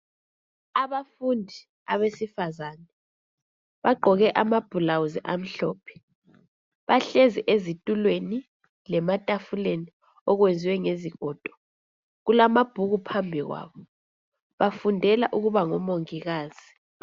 Abafundi abesifazane bagqoke ama blouse amhlophe. Bahlezi ezitulweni lematafuleni okwenziwe ngezigodo. Kulababhuku phambi kwabo. Bafundela ukuba ngomongikazi.